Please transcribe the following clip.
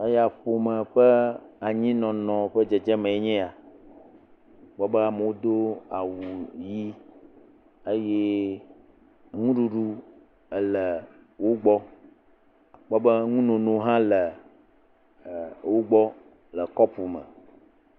Eya ƒome ƒe anyinɔnɔ ƒe dzedzeme enye ya. Kpɔ be amewo do awu ʋi eye nuɖuɖu le wo gbɔ. Kpɔ be nunono hã le wo gbɔ le kɔpu me.